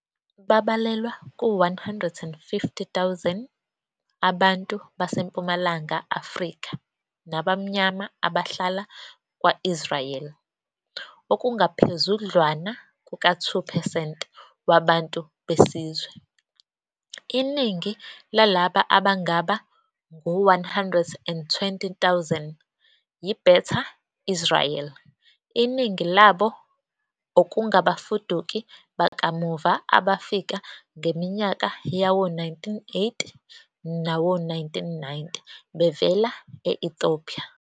Babalelwa ku-150,000 abantu baseMpumalanga Afrika nabamnyama abahlala kwa-Israel, okungaphezudlwana kuka-2 percent wabantu besizwe. Iningi lalaba, abangaba ngu-120,000, yi-Beta Israel, iningi labo okungabafuduki bakamuva abafika ngeminyaka yawo-1980 nawo-1990 bevela e-Ethiopia.